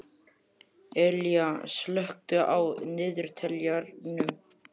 Elea, slökktu á niðurteljaranum.